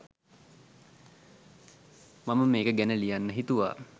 මම මේක ගැන ලියන්න හිතුවා.